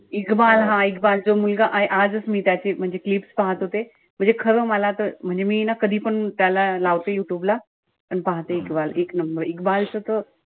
हा जो मुलगा आजच मी त्याची म्हणजे clips पाहत होते. म्हणजे खरं मला त म्हणजे मी ना कधी पण त्याला लावते यूट्यूब ला. आणि पाहते एक number च त,